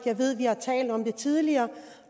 vi har talt om det tidligere